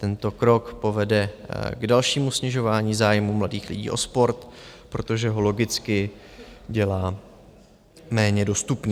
Tento krok povede k dalšímu snižování zájmů mladých lidí o sport, protože ho logicky dělá méně dostupný.